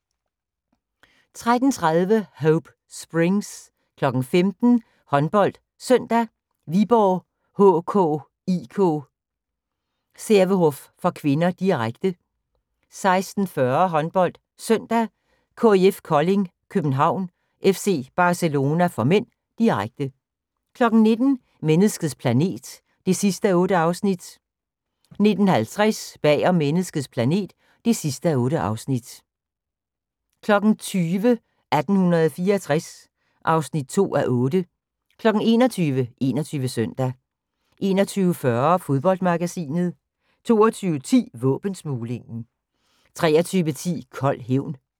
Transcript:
13:30: Hope Springs 15:00: HåndboldSøndag: Viborg HK-IK Sävehof (k), direkte 16:40: HåndboldSøndag: KIF Kolding København-FC Barcelona (m), direkte 19:00: Menneskets planet (8:8) 19:50: Bag om menneskets planet (8:8) 20:00: 1864 (2:8) 21:00: 21 Søndag 21:40: Fodboldmagasinet 22:10: Våbensmuglingen 23:10: Kold hævn